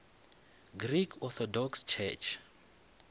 greek orthodox church